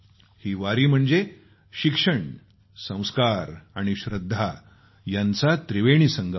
ही वारी म्हणजे शिक्षण संस्कार आणि श्रद्धा यांचा त्रिवेणी संगम आहे